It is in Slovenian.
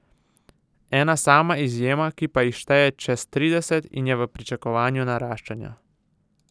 Ena sama izjema, ki pa jih šteje čez trideset in je v pričakovanju naraščaja.